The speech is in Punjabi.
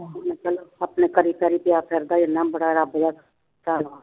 ਬਈ ਚੱਲ ਆਪਣੇ ਕਰੀ ਕਰੀ ਗਿਆ ਫਿਰਦਾ ਐਨਾ ਬੜਾ ਰੱਬ ਦਾ ਵਾ